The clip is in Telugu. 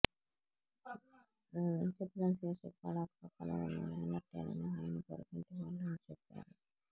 చిత్రం శీర్షిక పడాక్ పక్కన ఉన్నా లేనట్టేనని ఆయన పొరుగింటి వాళ్లు చెప్పారు